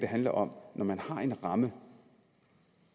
handler om at når man har en ramme